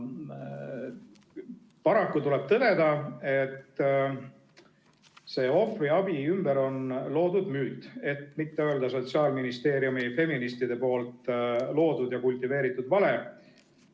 Paraku tuleb tõdeda, et ohvriabi ümber on loodud müüt, et mitte öelda Sotsiaalministeeriumi feministide loodud ja kultiveeritud vale.